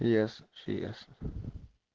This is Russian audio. ясно всё ясно